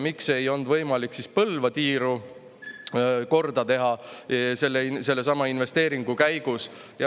Miks ei olnud võimalik Põlva tiiru korda teha sellesama investeeringu abil?